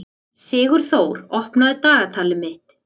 Sigurþór, opnaðu dagatalið mitt.